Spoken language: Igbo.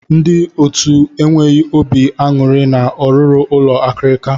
Ndị otu enweghị obi aṅụrị na ọ rụrụ ụlọ akirika.